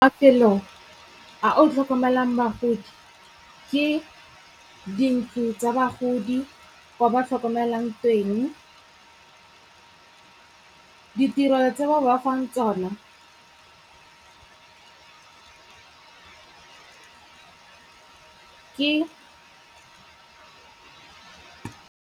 Mafelo a o tlhokomelang bagodi, ke dintlo tsa bagodi kwa ba tlhokomelwang teng. Ditiro tse ba ba fang tsona ke.